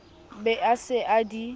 be a se a di